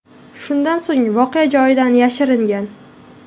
Shundan so‘ng voqea joyidan yashiringan.